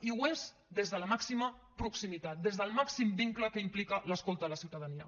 i ho és des de la màxima proximitat des del màxim vincle que implica l’escolta a la ciutadania